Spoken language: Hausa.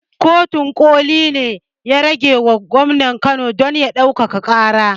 Kotun ƙoli ne ya ragewa gwamnan kano don ya ƙara ɗaukaka ƙara